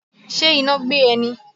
Ṣe iná gbé e ni?